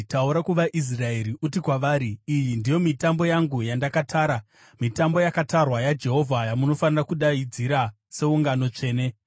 “Taura kuvaIsraeri uti kwavari, ‘Iyi ndiyo mitambo yangu yandakatara, mitambo yakatarwa yaJehovha yamunofanira kudaidzira seungano tsvene.